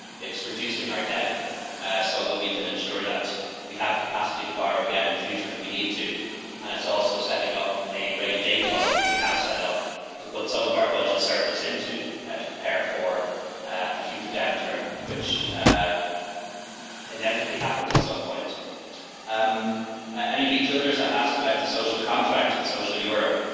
It is about reducing our debt so that we can ensure we have the capacity to borrow again in future if we need to, and it is also about setting up a rainy day fund which we have set up to put some of our budget surplus into, to prepare for a future downturn, which inevitably happens at some point. Ms Childers asked about the social contract and social Europe.